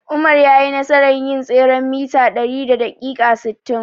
Umar yayi nasarar yin tseren mita ɗari a daƙiƙa sittin.